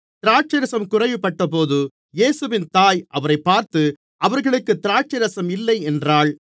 திராட்சைரசம் குறைவுபட்டபோது இயேசுவின் தாய் அவரைப் பார்த்து அவர்களுக்குத் திராட்சைரசம் இல்லை என்றாள்